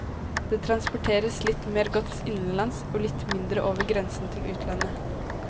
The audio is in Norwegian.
Det transporteres litt mer gods innenlands og litt mindre over grensen til utlandet.